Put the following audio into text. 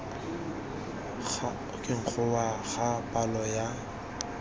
go wa ga palo ya